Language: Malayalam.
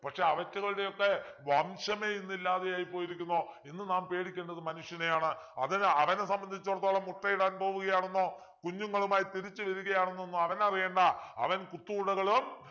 പക്ഷെ അവറ്റകളുടെയൊക്കെ വംശമേ ഇന്നില്ലാതെയായിപ്പോയിരിക്കുന്നു ഇന്ന് നാം പേടിക്കേണ്ടത് മനുഷ്യനെയാണ് അതിനു അവനെ സംബന്ധിച്ചെടുത്തോളം മുട്ടയിടാൻ പോവുകയാണെന്നോ കുഞ്ഞുങ്ങളുമായി തിരിച്ചു വരികയാണെന്നൊന്നോ അവനു അറിയേണ്ട അവൻ കുത്തൂണുകളും